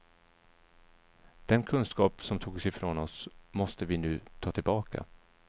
Den kunskap som togs ifrån oss måste vi nu ta tillbaka.